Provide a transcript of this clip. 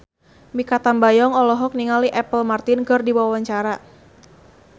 Mikha Tambayong olohok ningali Apple Martin keur diwawancara